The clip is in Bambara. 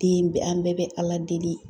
Den bɛɛ , an bɛɛ bɛ ala deli.